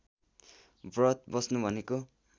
व्रत बस्नु भनेको